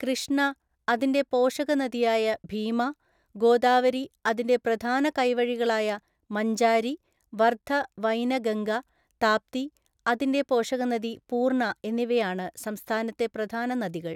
കൃഷ്ണ, അതിൻ്റെ പോഷകനദിയായ ഭീമ, ഗോദാവരി, അതിൻ്റെ പ്രധാന കൈവഴികളായ മഞ്ചാരി, വർധ വൈനഗംഗ, താപ്തി, അതിൻ്റെ പോഷകനദി പൂർണ്ണ എന്നിവയാണ് സംസ്ഥാനത്തെ പ്രധാന നദികൾ.